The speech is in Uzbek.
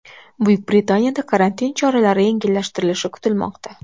Buyuk Britaniyada karantin choralari yengillashtirilishi kutilmoqda.